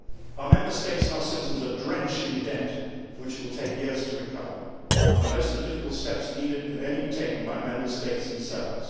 Our Member States and our citizens are drenched in debt from which it will take years to recover and most of the difficult steps needed can only be taken by Member States themselves.